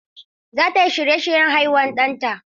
Za ta yi shirye-shiryen haihuwar ɗanta.